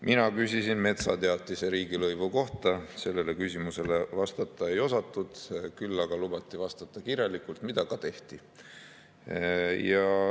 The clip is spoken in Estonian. Mina küsisin metsateatise riigilõivu kohta, sellele küsimusele vastata ei osatud, küll aga lubati vastata kirjalikult ja seda ka tehti.